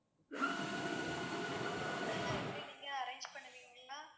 ஆஹ் okay ma'am food எல்லாம் எப்படி நீங்க arrange பண்ணுவீங்களா?